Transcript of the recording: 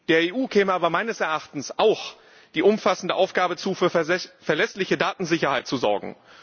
Der EU käme aber meines Erachtens auch die umfassende Aufgabe zu, für verlässliche Datensicherheit zu sorgen.